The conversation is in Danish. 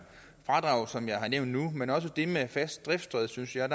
fradrag som jeg har nævnt nu men også det med fast driftssted synes jeg